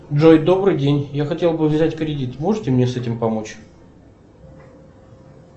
джой добрый день я хотел бы взять кредит можете мне с этим помочь